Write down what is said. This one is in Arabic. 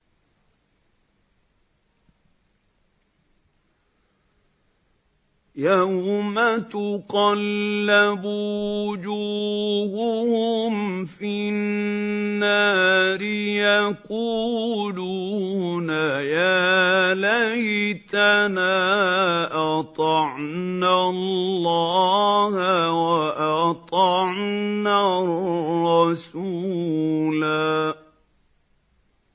يَوْمَ تُقَلَّبُ وُجُوهُهُمْ فِي النَّارِ يَقُولُونَ يَا لَيْتَنَا أَطَعْنَا اللَّهَ وَأَطَعْنَا الرَّسُولَا